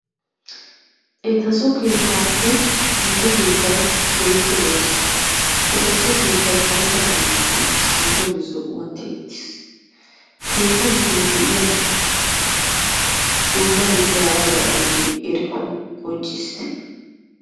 Eta so keettappe nu so keettay keehippe lo"eess. Eta so keettay karetta qalamiyaan tiyyeetiis, nu sooge zi'uwaan tiyyetiis. Keetta giddon de'iyaa dummatettay harabay aybbe erikko qonccissite.